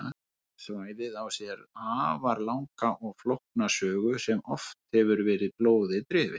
Svæðið á sér því afar langa og flókna sögu sem oft hefur verið blóði drifin.